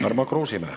Tarmo Kruusimäe.